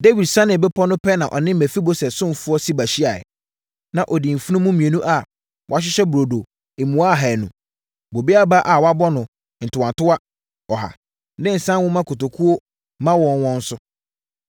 Dawid sianee bepɔ no pɛ na ɔne Mefiboset ɔsomfoɔ Siba hyiaeɛ. Na ɔdi mfunumu mmienu a wɔahyehyɛ burodo mua ahanu, bobe aba a wɔabɔ no ntowantowa ɔha ne nsã nwoma kotokuo ma wɔ wɔn so.